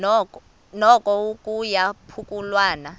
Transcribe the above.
noko kuya phululwana